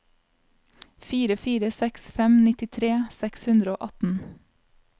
fire fire seks fem nittitre seks hundre og atten